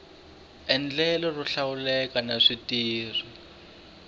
endlelo ro hlawuleka na switirho